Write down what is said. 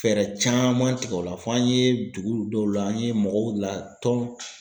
Fɛɛrɛ caman tigɛ o la fɔ an ye dugu dɔw la an ye mɔgɔw la tɔn